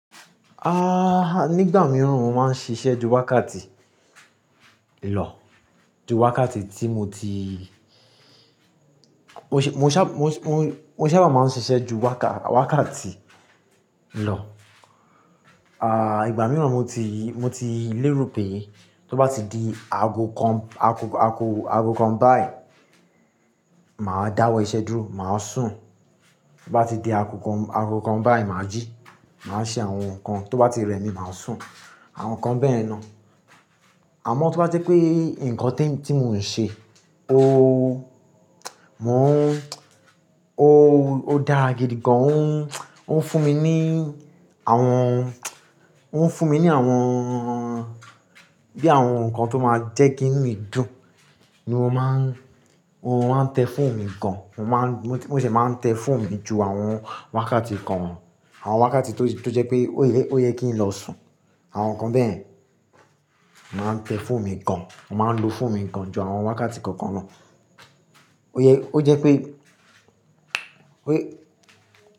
Ah, nígbà mìíràn mo máa ń ṣiṣẹ́ ju wákàtí ìlò, ju wákàtí tí mo ti, mo ṣé, mo ṣá, mo, mo ṣabá máa ń ṣiṣẹ́ ju wákà, wákàtí lọ. Ìgbà mìíràn mo ti, mo ti lérò pé tó bá ti di aago kan, aago, aago, aago kan báyìí, mà á dáwọ́ iṣẹ́ dúró, mà á sùn. Tó bá ti di aago kan, aago kan báyìí, mà á jí, mà á ṣe àwọn nǹkan, tó bá ti rẹ̀ mí, mà á sùn, àwọn nǹkan bẹ́yẹn ná. Àmọ́ tó bá jẹ́ pé nǹkan tí mo ń ṣe, o, mò ń, o, ó dáa gidi gan, ó ń, ó ń fún mi ní àwọn, ó ń fún mi ní àwọn bí i àwọn nǹkan tó máa jẹ́ kí inú mi dùn ni mo máa ń, mo máa ń tẹ phone mi gan. Mo máa ń, mo ṣé máa ń tẹ phone mi ju àwọn wákàtí kan, àwọn wákàtí tó, tó jẹ́ pé ó yẹ, ó yẹ kí n lọ sùn, àwọn nǹkan bẹ́yẹn, mà á ń tẹ phone mi gan. Mo máa ń lo phone mi gan ju àwọn wákàtí kankan lọ. Ó yẹ, ó jẹ́ pé, pé.